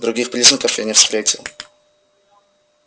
других признаков я не встретил